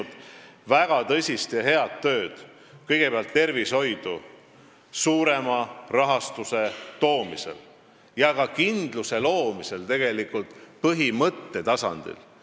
Jevgeni Ossinovski on minu meelest teinud väga tõsist ja head tööd kõigepealt tervishoidu suurema rahastuse toomisel ja ka kindluse loomisel põhimõtte tasandil.